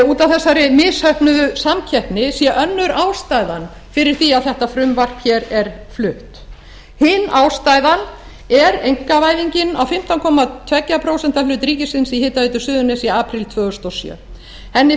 út af þessari misheppnuðu samkeppni sé önnur ástæðan fyrir því að þetta frumvarp hér er flutt hin ástæðan er einkavæðingin á fimmtán komma tveggja prósenta hlut ríkisins í hitaveitu suðurnesja í apríl tvö þúsund og sjö henni